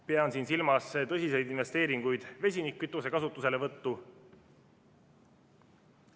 Pean siin silmas tõsiseid investeeringuid vesinikkütuse kasutuselevõttu.